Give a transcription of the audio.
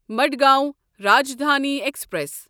Madgaon Rajdhani express